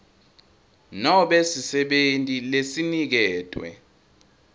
nobe sisebenti lesiniketwe